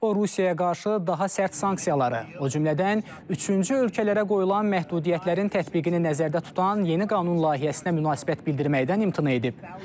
O Rusiyaya qarşı daha sərt sanksiyaları, o cümlədən üçüncü ölkələrə qoyulan məhdudiyyətlərin tətbiqini nəzərdə tutan yeni qanun layihəsinə münasibət bildirməkdən imtina edib.